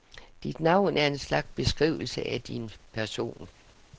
Dit navn er en slags beskrivelse af din person.